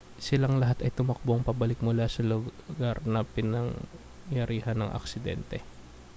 silang lahat ay tumakbong pabalik mula sa lugar na pinangyarihan ng aksidente